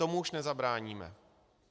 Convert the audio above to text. Tomu už nezabráníme.